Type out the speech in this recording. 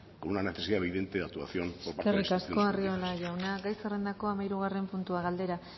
con una necesidad evidente de actuación por parte de eskerrik asko arriola jauna gai zerrendako hamahirugarren puntua galdera